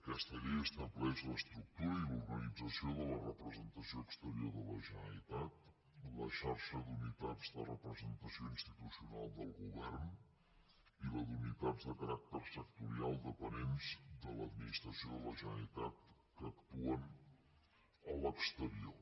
aquesta llei estableix l’estructura i l’organització de la representació exterior de la generalitat la xarxa d’unitats de representació institucional del govern i la d’unitats de caràcter sectorial dependents de l’administració de la generalitat que actuen a l’exterior